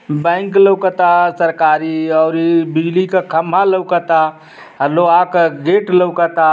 Bank लउकता सरकारी ओरी बिजली का खंबा लोकता अ लोहा क गेट लउकता।